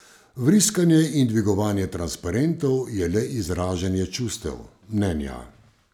Vriskanje in dvigovanje transparentov je le izražanje čustev, mnenja.